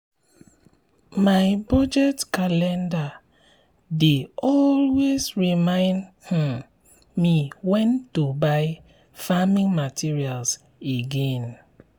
my budget calendar dey always remind um me when to buy farming materials again.